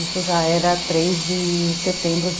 Isso já era três de setembro de